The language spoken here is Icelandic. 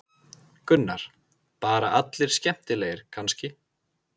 Gunnar: Bara allir skemmtilegir kannski?